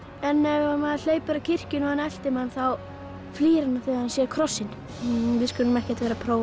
en ef maður hleypur að kirkjunni og hann eltir mann þá flýr hann þegar hann sér krossinn við skulum ekkert vera að prófa